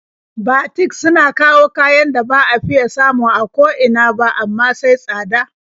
Batik suna kawo kayan da ba a fiya samu a ko ina ba, amma sai tsada.